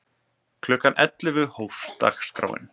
Klukkan ellefu hófst dagskráin.